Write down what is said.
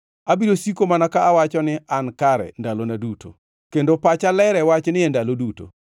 Abiro siko mana ka awacho ni an kare ndalona duto; kendo pacha ler e wachni e ndalo duto.